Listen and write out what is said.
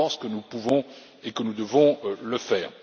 Je pense que nous pouvons et que nous devons le faire.